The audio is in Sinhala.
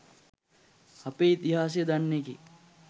අපේ ඉතිහාසය දන්න එකෙක්